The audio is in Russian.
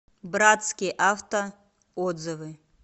братский авто отзывы